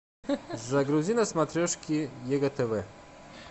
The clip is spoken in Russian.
загрузи на смотрешке егэ тв